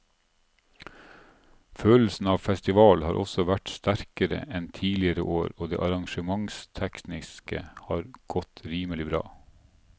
Følelsen av festival har også vært sterkere enn tidligere år og det arrangementstekniske har godt rimelig bra.